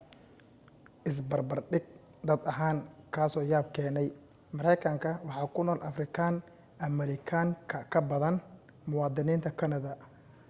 is barbardhig dad ahaan kaa soo yaab keenaya maraykanka waxa ku nool afrikaan ameerikan ka badan muwaadiniinta kanada